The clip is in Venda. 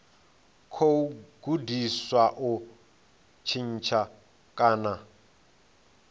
khou gudiwa u tshintsha kana